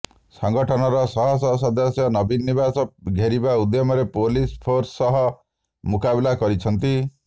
ସଂଗଠନର ଶହ ଶହ ସଦସ୍ୟ ନବୀନ ନିବାସ ଘେରିବା ଉଦ୍ୟମରେ ପୁଲିସ ଫୋର୍ସ ସହ ମୁକାବିଲା କରିଛନ୍ତି